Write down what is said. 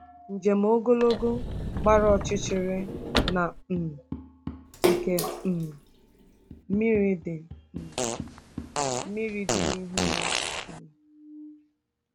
Njem ogologo gbara ọchịchịrị na um nke um mmiri dị um mmiri dị n'ihu ya um.